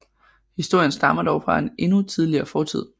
Historien stammer dog fra en endnu tidligere fortid